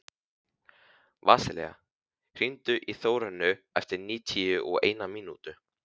Vasilia, hringdu í Þórönnu eftir níutíu og eina mínútur.